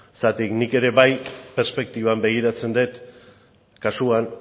zeren eta nik ere bai perspektiban begiratzen dut kasuan